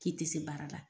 K'i tɛ se baara la